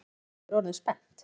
spyr Edda og er orðin spennt.